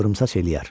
Qıvrımsaç eləyər.